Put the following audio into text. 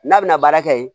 N'a bɛna baara kɛ yen